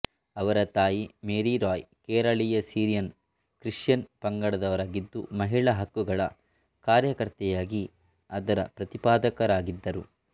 ಅವರ ತಾಯಿ ಮೇರಿ ರಾಯ್ ಕೇರಳೀಯ ಸಿರಿಯನ್ ಕ್ರಿಶ್ಚಿಯನ್ ಪಂಗಡದವರಾಗಿದ್ದು ಮಹಿಳಾ ಹಕ್ಕುಗಳ ಕಾರ್ಯಕರ್ತೆಯಾಗಿ ಅದರ ಪ್ರತಿಪಾದಕರಾಗಿದ್ದರು